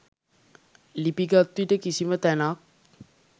ලිපි ගත්විට කිසිම තැනක්